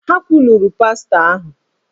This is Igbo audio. Ha kwuluru pastọ ahụ!